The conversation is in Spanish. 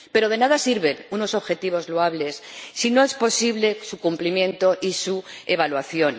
Pero de nada sirven unos objetivos loables si no es posible su cumplimiento y su evaluación.